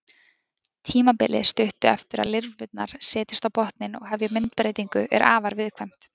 Tímabilið stuttu eftir að lirfurnar setjast á botninn og hefja myndbreytingu er afar viðkvæmt.